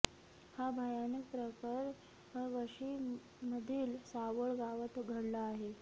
हा भयानक प्रकार वाशिममधील सावळ गावात घडला आहे